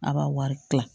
A b'a wari kila